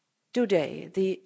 Today the